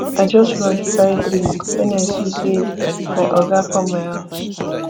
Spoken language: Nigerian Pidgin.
i just rush buy drink wen i see sey my oga come my house